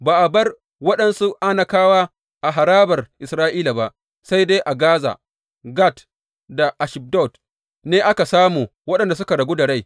Ba a bar waɗansu Anakawa a harabar Isra’ila ba; sai dai a Gaza, Gat da Ashdod ne aka samu waɗanda suka ragu da rai.